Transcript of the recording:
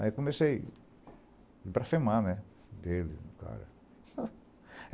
Aí comecei para afirmar, né, dele, do cara.